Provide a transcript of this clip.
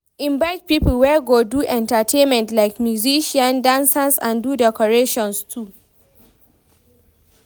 Invite pipo wey go do entertainment like musicians, dancers and do decorations too